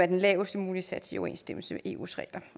er den lavest mulige sats i overensstemmelse med eus regler